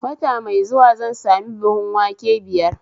Wata mai zuwa zan sami buhun wanke biyar